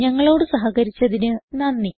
ഞങ്ങളോട് സഹകരിച്ചതിന് നന്ദി